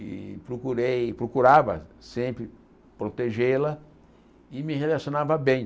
E procurei procurava sempre protegê-la e me relacionava bem.